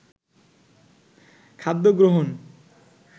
খাদ্য গ্রহণ